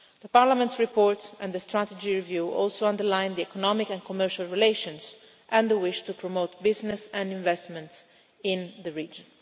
Parliament's report and the strategy review also underlined economic and commercial relations, and the wish to promote business and investment in the region.